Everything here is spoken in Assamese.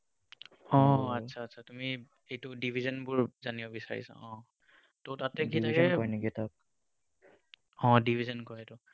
অ, আচ্ছা, আচ্ছা, তুমি এইবোৰ division বোৰ জানিব বিচাৰিছা? ত তাতে কেনেকৈ অ division কৰেতো।